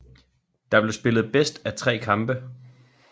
Der blev spillet bedst af tre kampe